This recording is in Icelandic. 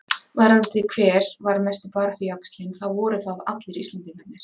Varðandi hver var mesti baráttujaxlinn þá voru það allir Íslendingarnir.